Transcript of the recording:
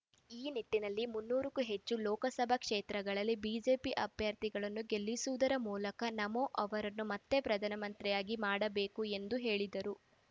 ಈ ನಿಟ್ಟಿನಲ್ಲಿ ಮುನ್ನೂರು ಕ್ಕೂ ಹೆಚ್ಚು ಲೋಕಸಭಾ ಕ್ಷೇತ್ರಗಳಲ್ಲಿ ಬಿಜೆಪಿ ಅಭ್ಯರ್ಥಿಗಳನ್ನು ಗೆಲ್ಲಿಸುವುದರ ಮೂಲಕ ನಮೋ ಅವರನ್ನು ಮತ್ತೆ ಪ್ರಧಾನಮಂತ್ರಿಯಾಗಿ ಮಾಡಬೇಕು ಎಂದು ಹೇಳಿದರು